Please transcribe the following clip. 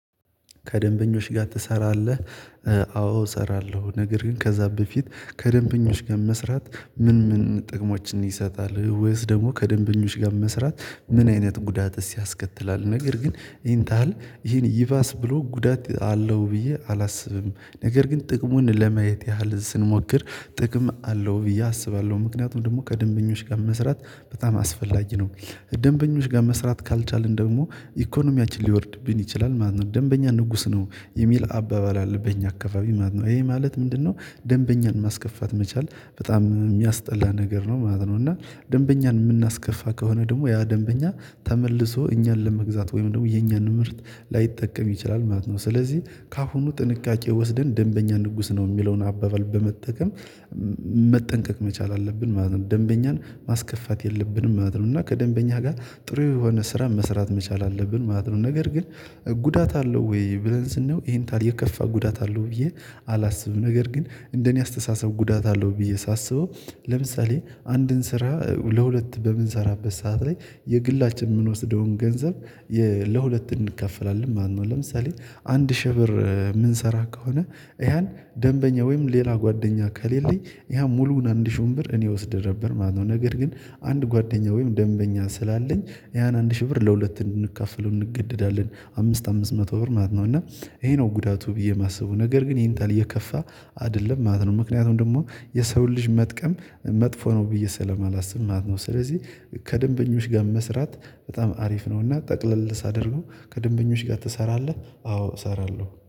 ከደንበኞች ጋር ትሰራለህ? አዎ እሰራለሁ ነገር ግን ከዛ በፊት ከደንበኞች ጋር መስራት ምን ምን ጥቅሞችን ይሰጣል ወይስ ደግሞ ከደንበኞች ጋር መስራት ምን አይነት ጉዳት ያስከትላል? ነገር ግን ይሄን ታሀል ይባስ ብሎ ጉዳት አለው ብዬ አላስብም ነገር ግን ጥቅሙን ለማየት ያህል ስንሞክር ጥቅም አለው ብዬ አስባለሁ ምክንያቱም ደግሞ ከደንበኞች ጋር መስራት በጣም አስፈላጊ ነው። ደንበኞች ጋር መስራት ካልቻልን ደግሞ ኢኮኖሚያችን ሊወርድብን ይችላል ማለት ነው። ደንበኛ ንጉስ ነው የሚል አባባል አለ በእኛ አካባቢ ማለት ነው ይሄ ማለት ምንድነው? ደንበኛን ማስከፋት መቻል በጣም ያስጠላ ነገር ነው ማለት ነው። እና ደንበኛን የምናስከፋ ከሆነ ደግሞ ያ ደንበኛ ተመልሶ እኛን ለመግዛት ወይም ደግሞ የኛን ምርት ላይጠቀም ይችላል ማለት ነው። ስለዚህ ከአሁኑ ጥንቃቄ ወስደን ደንበኛ ንጉስ ነው የሚለውን አባባል በመጠቀም መጠንቀቅ መቻል አለብን ማለት ነው። ደንበኛን ማስከፋት የለብንም ማለት ነው። እና ከደንበኛ ጋር ጥሩ የሆነ ስራ መስራት መቻል አለብን ማለት ነው። ነገር ግን ጉዳት አለው ወይ ብለን ስንለው ይሄን ታዲያ የከፋ ጉዳት አለው ብዬ አላስብም። ነገር ግን እንደኔ አስተሳሰብ ጉዳት አለው ብዬ ሳስበው ለምሳሌ አንድን ስራ ለሁለት በምንሰራበት ሰዓት ላይ የግላችን የምንወስደውን ገንዘብ ለሁለት እንካፈላለን ማለት ነው። ለምሳሌ አንድ ሺህ ብር የምንሰራ ከሆነ ያን ደንበኛ ወይም ሌላ ጓደኛ ከሌለኝ ያ ሙሉውን አንድ ሺህ ወንበር እኔ ወስደህ ነበር ማለት ነው። ነገር ግን አንድ ጓደኛ ወይም ደንበኛ ስላለኝ ያን አንድ ሺህ ብር ለሁለት እንድንካፈለው እንገደዳለን አምስት አምስት መቶ ብር ማለት ነው። እና ይሄ ነው ጉዳቱ ብዬ የማስበው ነገር ግን ይሄን ታህል የከፋ አይደለም ማለት ነው። ምክንያቱም ደግሞ የሰውን ልጅ መጥቀም መጥፎ ነው ብዬ ስለማላስብ ማለት ነው። ስለዚህ ከደንበኞች ጋር መስራት በጣም አሪፍ ነው። እና ጠቅለል ሳደርገው ከደንበኞች ጋር ትሰራለህ አዎ እሰራለሁ